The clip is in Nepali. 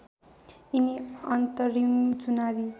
यिनी अन्तरिम चुनावी